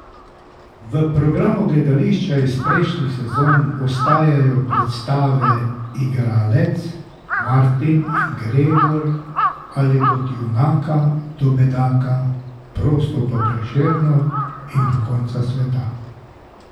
V programu gledališča iz prejšnjih sezon ostajajo predstave Igralec, Martin in Gregor ali od junaka do bedaka, Prosto po Prešernu in Do konca sveta.